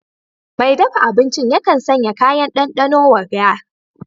Mai dafa abincin yakan sanya kayan ɗanɗano wa kajin